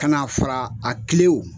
Kana fara a kilew